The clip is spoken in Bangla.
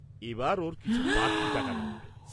এবার ওর কিছু বাড়তি টাকা লাগবে।